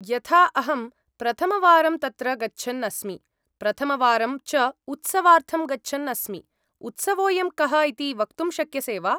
यथा अहं प्रथमवारम् तत्र गच्छन् अस्मि, प्रथमवारं च उत्सवार्थं गच्छन् अस्मि, उत्सवोऽयं कः इति वक्तुं शक्यसे वा?